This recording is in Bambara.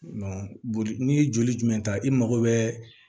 boli n'i ye joli in ta i mago bɛɛ